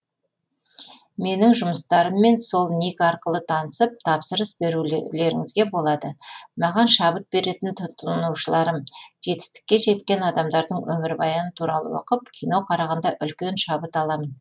менің жұмыстарыммен сол ник арқылы танысып тапсырыс берулеріңізге болады маған шабыт беретін тұтынушыларым жетістікке жеткен адамдардың өмірбаяны туралы оқып кино қарағанда үлкен шабыт аламын